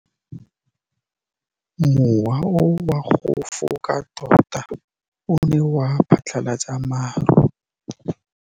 Mowa o wa go foka tota o ne wa phatlalatsa maru.